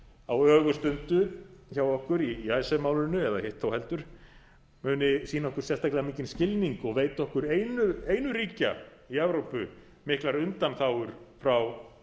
á ögurstundu hjá okkur í icesave málinu eða hitt þó heldur muni sýna okkur sérstaklega mikinn skilning og veita okkur einu ríkja í evrópu miklar undanþágur frá